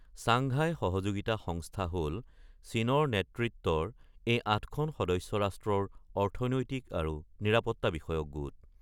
Shanghai সহযোগিতা সংস্থা হ'ল চীনৰ নেতৃত্বৰ এই ৮খন সদস্য ৰাষ্ট্ৰৰ অৰ্থনৈতিক আৰু নিৰাপত্তা বিষয়ক গোট।